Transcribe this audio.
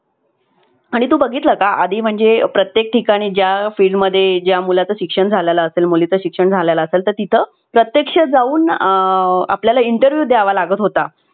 आणि तू बघितला का? आधी म्हणजे प्रत्येक ठिकाणी ज्या field मध्ये ज्या मुला चे शिक्षण झालेलं असेल मुलीचं शिक्षण झालेलं असेल तर तिथं प्रत्यक्ष जाऊन आपल्याला interview द्यावा लागत होता.